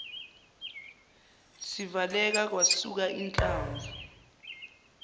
sivaleka wasuka inhlamvu